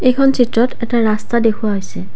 এইখন চিত্ৰত এটা ৰাস্তা দেখুওৱা হৈছে।